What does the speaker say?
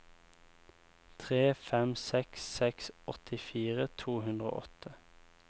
tre fem seks seks åttifire to hundre og åtte